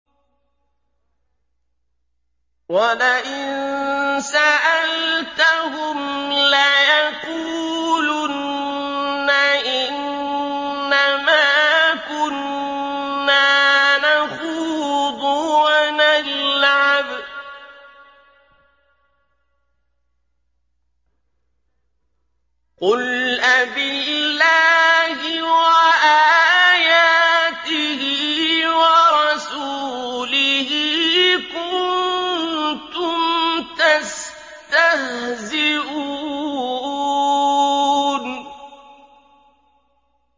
وَلَئِن سَأَلْتَهُمْ لَيَقُولُنَّ إِنَّمَا كُنَّا نَخُوضُ وَنَلْعَبُ ۚ قُلْ أَبِاللَّهِ وَآيَاتِهِ وَرَسُولِهِ كُنتُمْ تَسْتَهْزِئُونَ